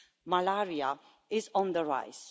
Malaria is on the rise.